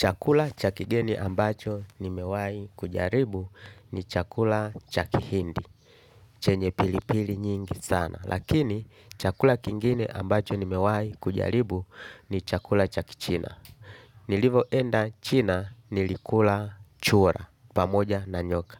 Chakula cha kigeni ambacho nimewai kujaribu ni chakula cha kihindi. Chenye pilipili nyingi sana. Lakini chakula kingine ambacho nimewai kujaribu ni chakula cha kichina. Nilivoenda China nilikula chura pamoja na nyoka.